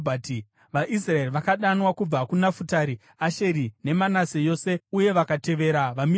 VaIsraeri vakadanwa kubva kuNafutari, Asheri neManase yose, uye vakatevera vaMidhiani.